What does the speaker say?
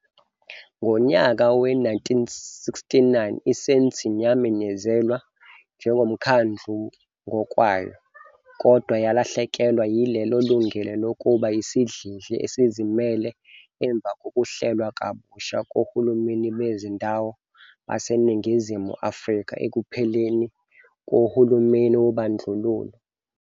Ngonyaka we-1969, iSandton yamemezelwa njengomkhandlu ngokwayo, kodwa yalahlekelwa yilelo lungelo lokuba isidlidli esizimele emva kokuhlelwa kabusha kohulumeni bezindawo baseNingizimu Afrika ekupheleni kohulumeni wobandlululo.